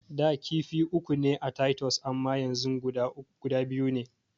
Da kifi uku ne a taytus amma yanzu guda biyu ne.